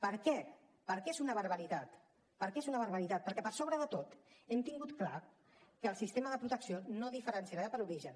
per què per què és una barbaritat perquè per sobre de tot hem tingut clar que el sistema de protecció no diferenciarà per origen